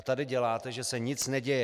A tady děláte, že se nic neděje.